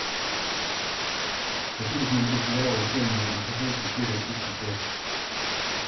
хочу посмотреть сериал отчаянные домохозяйки серия тридцать пять